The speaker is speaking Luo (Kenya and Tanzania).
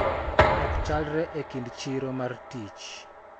Ok chalre e kind chiro mar tich